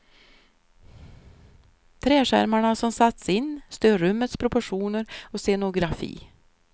Träskärmarna som satts in stör rummets proportioner och scenografi.